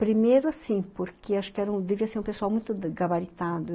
Primeiro assim, porque acho que devia ser um pessoal muito gabaritado.